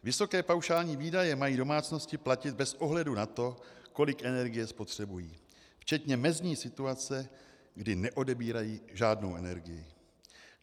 Vysoké paušální výdaje mají domácnosti platit bez ohledu na to, kolik energie spotřebují, včetně mezní situace, kdy neodebírají žádnou energii.